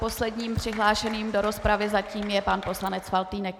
Posledním přihlášeným do rozpravy zatím je pan poslanec Faltýnek.